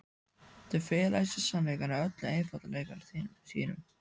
Þau fela í sér sannleikann í öllum einfaldleika sínum.